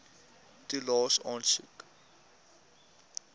toelaes aansoek